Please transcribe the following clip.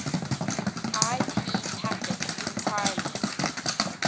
ip packets entirely